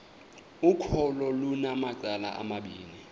ukholo lunamacala amabini